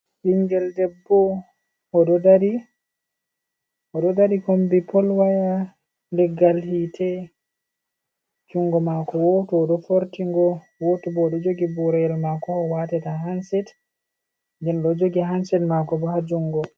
Ɓingel debbo oɗo dari kombi pol waya leggal hite. Jungo mako woto odo fortingo, woto bo ɗo jogi boroyel mako ha owatata hanset genlo jogi hanset mako bo ha jungo.